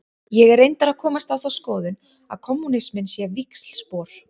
Ég er reyndar að komast á þá skoðun að kommúnisminn sé víxlspor.